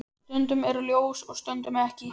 Stundum er ljós og stundum ekki.